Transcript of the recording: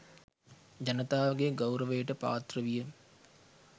ජනතාවගේ ගෞරවයට පාත්‍ර විය.